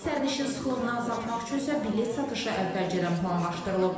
Sərnişin sıxlığını azaltmaq üçün isə bilet satışı əvvəlcədən planlaşdırılıb.